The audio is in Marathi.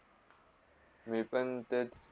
मी पण तेच.